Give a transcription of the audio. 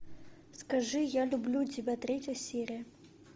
скажи я люблю тебя третья серия